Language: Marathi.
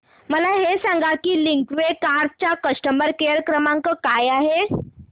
मला हे सांग की लिंकवे कार्स चा कस्टमर केअर क्रमांक काय आहे